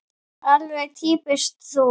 Alveg týpískt þú.